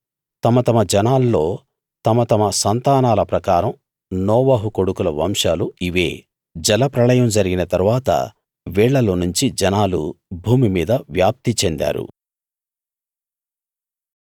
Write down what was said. తమ తమ జనాల్లో తమ తమ సంతానాల ప్రకారం నోవహు కొడుకుల వంశాలు ఇవే జలప్రళయం జరిగిన తరువాత వీళ్ళల్లోనుంచి జనాలు భూమి మీద వ్యాప్తి చెందారు